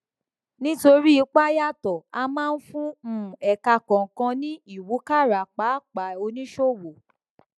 nítorí ipa yàtọ a máa ń fún um ẹka kọọkan ní ìwúkàrà pàápàá oníṣòwò